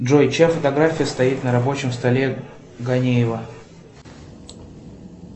джой чья фотография стоит на рабочем столе ганеева